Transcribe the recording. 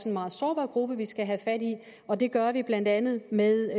en meget sårbar gruppe vi skal have fat i og det gør vi blandt andet med